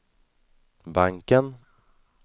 banken